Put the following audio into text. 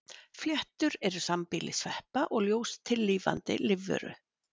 fléttur eru sambýli sveppa og ljóstillífandi lífveru